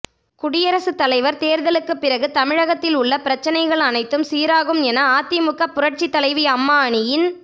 குடியரசுத்தலைவர் தேர்தலுக்குப் பிறகு தமிழகத்தில் உள்ள பிரச்னைகள் அனைத்தும் சீராகும் என அதிமுக புரட்சித்தலைவி அம்மா அணியின்